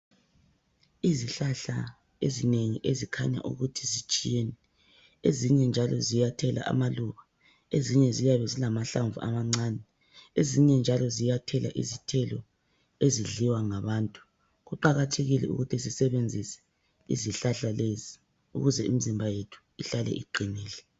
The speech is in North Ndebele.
Izihlahla ezinengi ezikhanya ukuthi zitshiyene. Ezinye njalo ziyathela amaluba. Ezinye ziyabe zilamahlamvu amancane. Ezinye njalo ziyathela izithelo ezidliwa ngabantu. Kuqakathekile ukuthi sesebenzise izihlahla lezi ukuze imizimba yethu ihlale iwinile